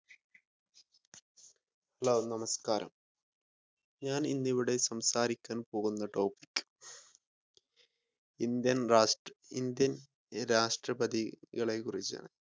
hello നമസ്കാരം ഞാൻ ഇന്ന് ഇവിടെ സംസാരിക്കാൻ പോകുന്ന ഇന്ത്യൻ രാഷ്‌ട്രപതികളെ കുറിച്ചാണ്